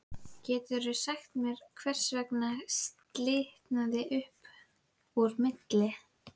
Geturðu sagt mér hvers vegna slitnaði upp úr milli